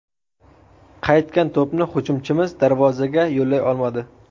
Qaytgan to‘pni hujumchimiz darvozaga yo‘llay olmadi.